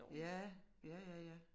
Ja ja ja ja